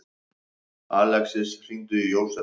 Alexis, hringdu í Jósep.